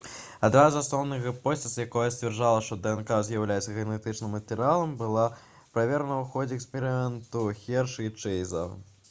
адна з асноўных гіпотэз якая сцвярджала што днк з'яўляецца генетычным матэрыялам была праверана ў ходзе эксперыменту хершы і чэйза